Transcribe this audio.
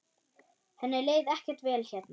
Henni leið ekkert vel hérna.